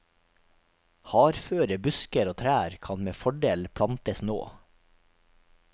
Hardføre busker og trær kan med fordel plantes nå.